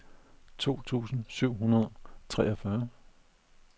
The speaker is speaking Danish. to tusind syv hundrede og treogfyrre